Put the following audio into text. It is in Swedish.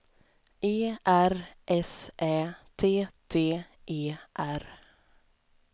E R S Ä T T E R